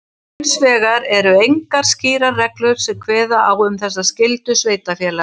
Hins vegar eru engar skýrar reglur sem kveða á um þessa skyldu sveitarfélaga.